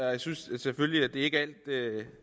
jeg synes selvfølgelig at det ikke